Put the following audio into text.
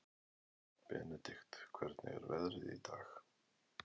Benedikt, hvernig er veðrið í dag?